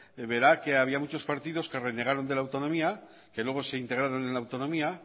verá que había muchos partidos que renegaron de la autonomía que luego se integraron en la autonomía